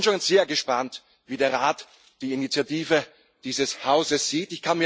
Ich bin schon sehr gespannt, wie der Rat die Initiative dieses Hauses sieht.